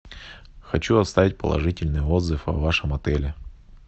хочу оставить положительный отзыв о вашем отеле